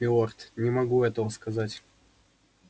нет милорд не могу этого сказать